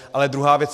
Ale druhá věc.